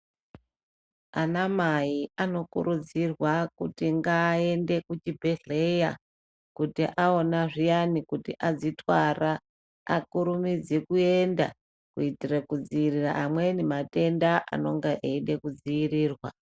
Anamai anokurudzirwa kuti ngaende kuchibhehleya kuti awona zviyani kuti adzitwara akurumidze kuenda kuitire kudziirire amweni matenda anonga eide kudzirirwa.